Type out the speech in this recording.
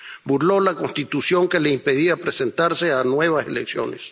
burló la Constitución, que le impedía presentarse a nuevas elecciones